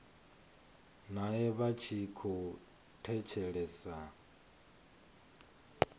nae vha tshi khou thetshelesa